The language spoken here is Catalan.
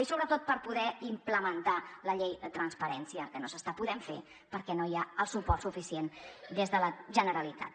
i sobretot per poder implementar la llei de transparència que no s’està podent fer perquè no hi ha el suport suficient des de la generalitat